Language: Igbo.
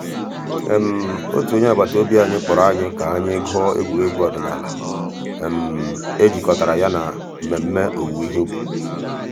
ọ̀tù ònyè àgbàtà òbì kpọ̀rọ̀ ànyị̀ kà ànyị̀ gụ̀ọ̀ ègwè́ré́gwụ̀ òdìnàlà è jìkọ̀tàrà yà nà mmẹ̀mmẹ̀ òwùwé ìhè ǔbì.